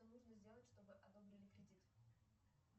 что нужно сделать чтобы одобрили кредит